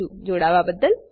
જોડાવા બદલ આભાર